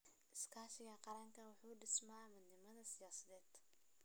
Iskaashiga qaranku waxa uu dhisaa midnimo siyaasadeed.